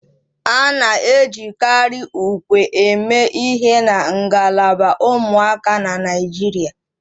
A na-ejikarị ùkwè eme ihe na ngalaba ụmụaka na Naịjirịa